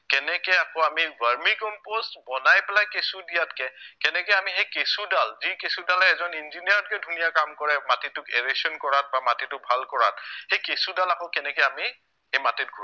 কেনেকে আমি আকৌ vermicompost বনাই পেলাই কেঁচু দিয়াতকে কেনেকে আমি সেই কেঁচুদাল, যি কেঁচুদালে এজন engineer তকৈ ধুনীয়া কাম কৰে মাটিতো awation কৰাত বা মাটিতো ভাল কৰাত সেই কেঁচুদাল আকৌ কেনেকে আমি সেই মাটিত ঘূৰাই